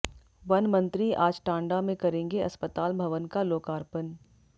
one मंत्री आज टांडा में करेंगे अस्पताल भवन का लोकार्पण